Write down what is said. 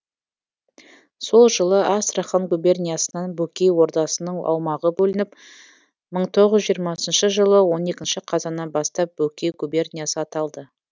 сол жылы астрахан губерниясынан бөкей ордасының аумағы бөлініп мың тоғыз жүз жиырмасыншы жылы он екінші қазанынан бастап бөкей губерниясы аталды